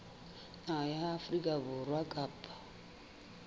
naha ya afrika borwa kapa